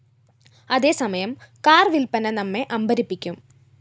അതേസമയം കാർ വില്പ്പന നമ്മെ അമ്പരപ്പിക്കും